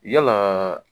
Yala